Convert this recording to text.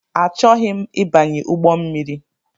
Achọghị m ịbanye ụgbọmmiri